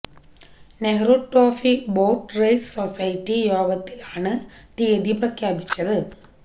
Nehru trophy boat race society യോഗത്തിലാണ് തിയതി പ്രഖ്യാപിച്ചത്